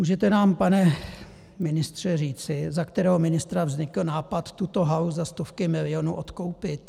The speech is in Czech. Můžete nám, pane ministře, říci, za kterého ministra vznikl nápad tuto halu za stovky milionů odkoupit?